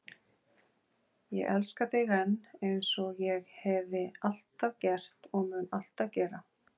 Ég elska þig enn, eins og ég hefi alltaf gert og mun alltaf gera.